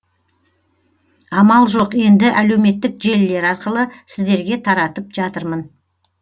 амал жоқ енді әлеуметтік желілер арқылы сіздерге таратып жатырмын